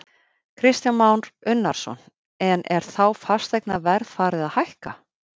Kristján Már Unnarsson: En er þá fasteignaverð farið að hækka?